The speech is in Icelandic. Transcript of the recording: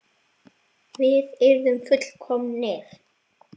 Við yrðum full- komnir.